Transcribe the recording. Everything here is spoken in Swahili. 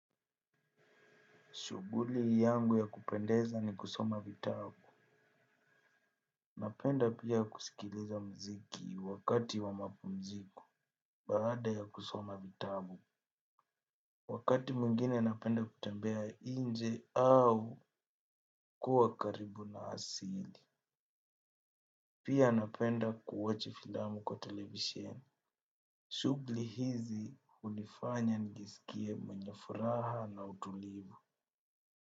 Shuguli yangu ya kupendeza ni kusoma vitabu. Napenda pia kusikiliza mziki wakati wa mapumziko baada ya kusoma vitabu. Wakati mwingine napenda kutembea inje au kuwa karibu na asili. Pia napenda kuwochi filamu kwa televisheni. Shugli hizi hunifanya nijiskie mwenye furaha na utulivu.